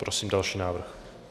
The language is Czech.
Prosím další návrh.